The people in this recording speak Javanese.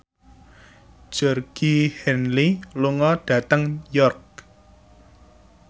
Georgie Henley lunga dhateng York